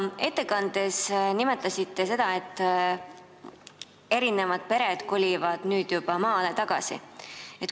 Te oma ettekandes nimetasite, et pered kolivad nüüd juba maale tagasi.